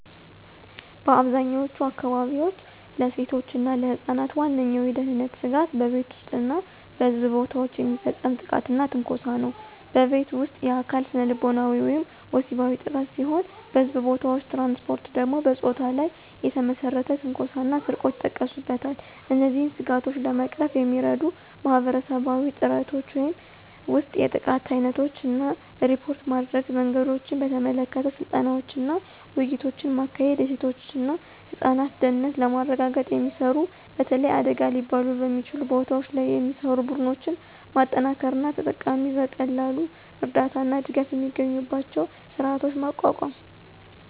በአብዛኛዎቹ አካባቢዎች፣ ለሴቶች እና ለህፃናት ዋነኛው የደህንነት ስጋት በቤት ውስጥ እና በሕዝብ ቦታዎች የሚፈጸም ጥቃትና ትንኮሳ ነው። በቤት ውስጥ: የአካል፣ ስነልቦናዊ ወይም ወሲባዊ ጥቃት ሲሆን በሕዝብ ቦታዎች/ትራንስፖርት ደግሞ በፆታ ላይ የተመሰረተ ትንኮሳ እና ስርቆት ይጠቀሱበታል። እነዚህን ስጋቶች ለመቅረፍ የሚረዱ ማህበረሰባዊ ጥረቶች ውስጥ የጥቃት ዓይነቶችን እና ሪፖርት ማድረጊያ መንገዶችን በተመለከተ ስልጠናዎችንና ውይይቶችን ማካሄድ፤ የሴቶች እና ህፃናት ደህንነትን ለማረጋገጥ የሚሰሩ፣ በተለይ አደገኛ ሊባሉ በሚችሉ ቦታዎች ላይ የሚሰሩ፣ ቡድኖችን ማጠናከር እና ተጠቂዎች በቀላሉ እርዳታ እና ድጋፍ የሚያገኙበትን ስርዓት ማቋቋም።